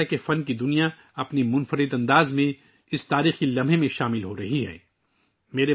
ایسا لگتا ہے کہ فن کی دنیا اس تاریخی لمحے میں اپنے منفرد انداز میں شریک ہورہی ہے